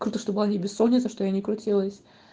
круто что была не бессонница что я не крутилась